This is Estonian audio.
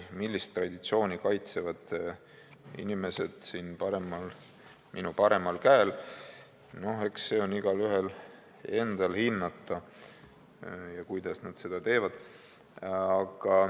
Millist traditsiooni kaitsevad inimesed siin minu paremal käel, eks see ole igaühe enda hinnata, ja ka see, kuidas nad seda teevad.